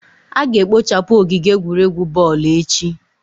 a ga-ekpochapu ogige egwuregwu boolu echi